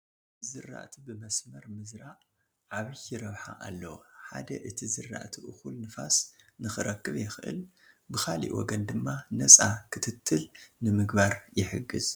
ንዝራእቲ ብመስመር ምዝራእ ዓብዪ ረብሓ ኣለዎ፡፡ ሓደ እቲ ዝራእቲ እኹል ንፋስ ንክረክብ የኽእል፡፡ ብካልእ ወገን ድማ ነፃ ክትትል ንምግባር ይሕግዝ፡፡